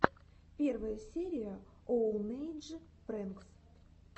первая серия оунэйдж прэнкс